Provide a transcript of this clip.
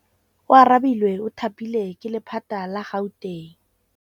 Oarabile o thapilwe ke lephata la Gauteng.